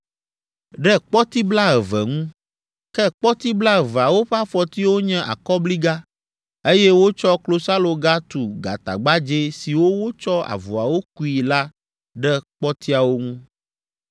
ɖe kpɔti blaeve ŋu. Ke kpɔti blaeveawo ƒe afɔtiwo nye akɔbliga, eye wotsɔ klosaloga tu gatagbadzɛ siwo wotsɔ avɔawo kui la ɖe kpɔtiawo ŋu.